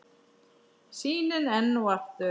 Sýnin enn og aftur.